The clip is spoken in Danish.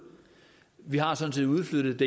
vi har sådan set udflyttet